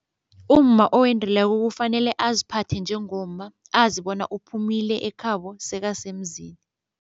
Umma owendileko kufanele aziphathe njengomma azi bona uphumile ekhabo sekasemzini.